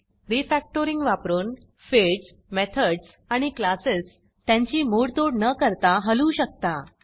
Refactoringरीफॅक्टरिंग वापरून fields methods आणि classes त्यांची मोडतोड न करता हलवू शकता